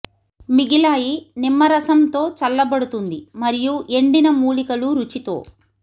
మిగిలాయి నిమ్మ రసం తో చల్లబడుతుంది మరియు ఎండిన మూలికలు రుచితో